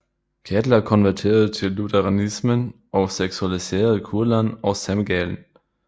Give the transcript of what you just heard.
Kettler konverterede til lutheranismen og sekulariserede Kurland og Semgallen